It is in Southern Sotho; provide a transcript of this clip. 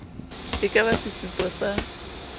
e ka ba sesupo sa